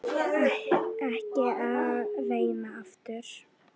Ekki að reyna aftur.